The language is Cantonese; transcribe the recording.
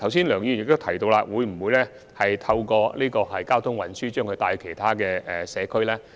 梁議員剛才問到，政府會否利用交通運輸把旅客帶到其他社區。